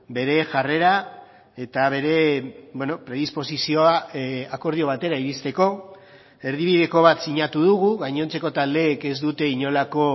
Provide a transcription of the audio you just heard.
bere jarrera eta bere predisposizioa akordio batera iristeko erdibideko bat sinatu dugu gainontzeko taldeek ez dute inolako